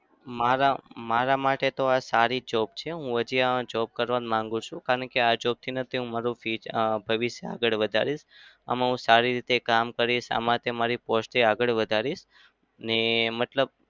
મારા મારા માટે તો આ સારી job છે. હું ત્યાં જ job જ માગું છું કારણ કે આ job થી હું મારું future ભવિષ્ય આગળ વધારીશ. આમાં હું સારી રીતે કામ કરીશ. આમાંથી હું મારી post પણ આગળ વધારીશ. ને મતલબ